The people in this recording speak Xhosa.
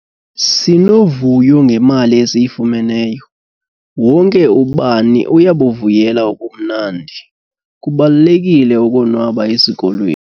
Sinovuyo ngemali esiyifumeneyo. wonke ubani uyabuvuyela ubumnandi, kubalulekile ukonwaba esikolweni